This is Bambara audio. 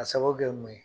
A sababu kɛ mun ye